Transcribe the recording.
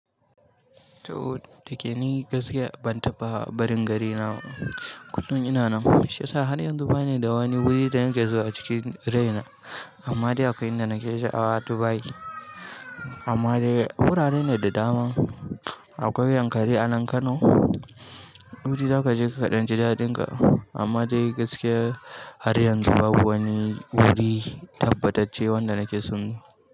To, da ke ni gaskiya ban taɓa barin garina, kullun ina nan shi ya sa har yanzu bani da wani wuri da na ke zuwa a cikin raina. Amma dai akwai inda na ke sha'awa Dubai. Amma dai wurare ne da dama. Akwai Yankari a nan Kano. Wuri za ka je ka ɗan ji daɗinka. Amma dai gaskiya har yanzu babu wani wuri tabbatacce wanda na ke so.